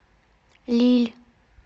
лилль